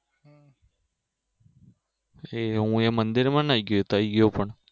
એ હું મંદિરમાં નહિ ગયો ત્યાં ગયો પણ